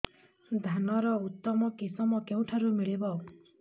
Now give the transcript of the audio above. ଧାନର ଉତ୍ତମ କିଶମ କେଉଁଠାରୁ ମିଳିବ